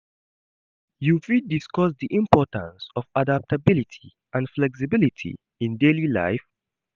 You fit discuss di importance of adaptability and flexibility in daily life.